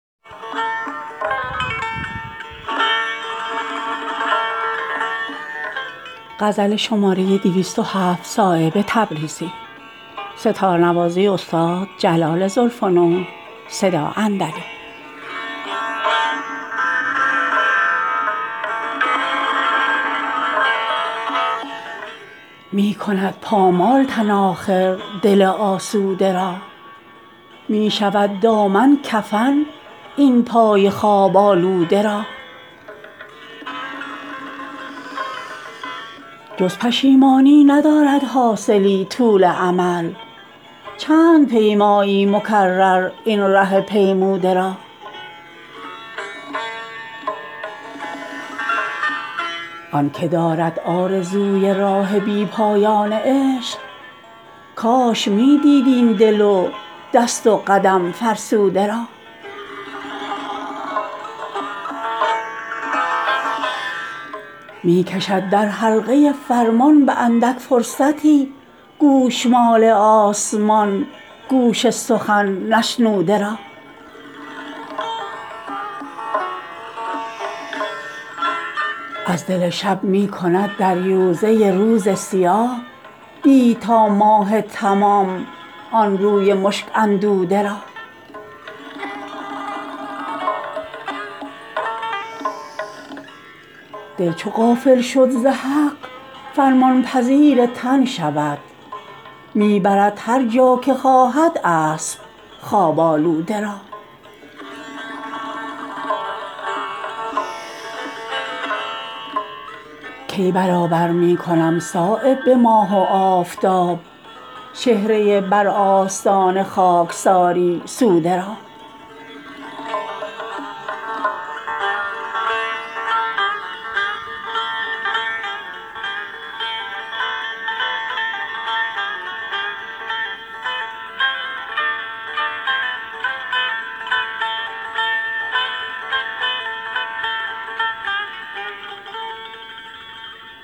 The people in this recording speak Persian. می کند پامال تن آخر دل آسوده را می شود دامن کفن این پای خواب آلوده را جز پشیمانی ندارد حاصلی طول امل چند پیمایی مکرر این ره پیموده را آن که دارد آرزوی راه بی پایان عشق کاش می دید این دل و دست و قدم فرسوده را می کشد در حلقه فرمان به اندک فرصتی گوشمال آسمان گوش سخن نشنوده را از دل شب می کند در یوزه روز سیاه دید تا ماه تمام آن روی مشک اندوده را دل چو غافل شد ز حق فرمان پذیر تن شود می برد هر جا که خواهد اسب خواب آلوده را کی برابر می کنم صایب به ماه و آفتاب چهره بر آستان خاکساری سوده را